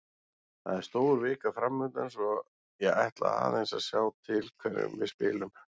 Það er stór vika framundan svo ég ætla aðeins að sjá til hverjum við spilum.